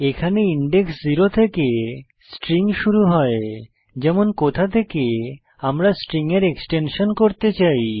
এখানে ইনডেক্স 0 থেকে স্ট্রিং শুরু হয় যেমন কোথা থেকে আমরা স্ট্রিং এর এক্সট্রেকশন করতে চাই